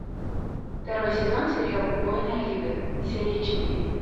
второй сезон сериал убойная лига серия четыре